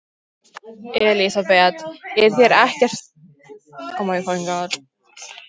Elísabet: Er þér ekkert heitt í þessum búningi?